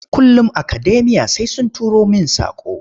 Kullum akademiya sai sun turo main saƙo.